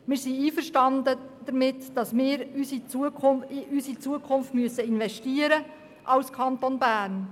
Wir sind damit einverstanden, dass wir als Kanton Bern in unsere Zukunft investieren müssen.